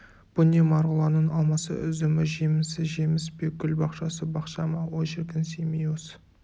бұ не марғұланның алмасы үзімі жемісі жеміс пе гүл бақшасы бақша ма ой шіркін семей осы